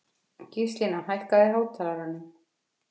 Gíslína, hækkaðu í hátalaranum.